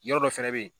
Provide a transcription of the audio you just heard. Yɔrɔ dɔ fɛnɛ be yen